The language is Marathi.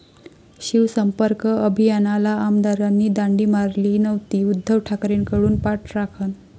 शिवसंपर्क अभियानाला आमदारांनी दांडी मारली नव्हती, उद्धव ठाकरेंकडून पाठराखण